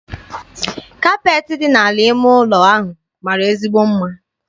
Kapeetị dị n'ala ime ụlọ ahụ mara ezigbo mma.